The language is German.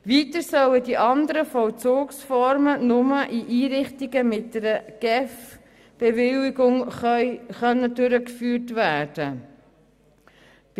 Weiter sollen die anderen Vollzugsformen nur in Einrichtungen mit einer Bewilligung durch die GEF durchgeführt werden können.